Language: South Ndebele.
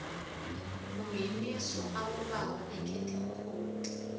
kungeniswa abobaba ekhethemkhulu